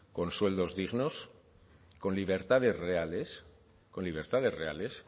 con sueldos dignos con libertades reales con libertades reales